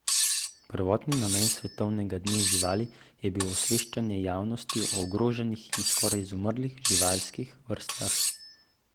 Prvotni namen svetovnega dne živali je bil osveščanje javnosti o ogroženih in skoraj izumrlih živalskih vrstah.